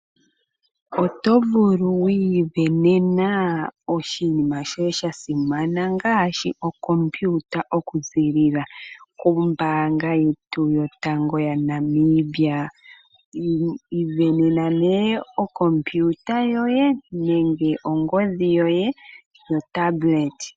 Otovulu wi isindanene oshinima shoye sha simana ngaashi okompiyuta okuziilila kombaanga yotango moNamibia. Isindanena nee okompiyuta yoye nenge ongodhi yoye.